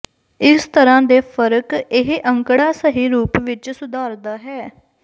ਇਸ ਤਰ੍ਹਾਂ ਦੇ ਫਰਕ ਇਹ ਅੰਕੜਾ ਸਹੀ ਰੂਪ ਵਿੱਚ ਸੁਧਾਰਦਾ ਹੈ